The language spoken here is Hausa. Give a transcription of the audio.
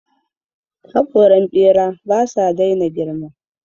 Haƙoran ɓera ba sa daina girma.